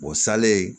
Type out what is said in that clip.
salen